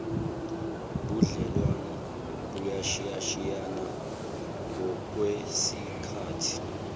budlelwano buyashiyashiyana ngokwesikhathi